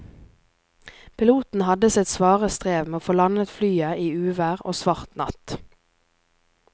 Piloten hadde sitt svare strev med å få landet flyet i uvær og svart natt.